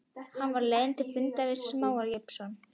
Hann var á leið til fundar við Smára Jósepsson, lög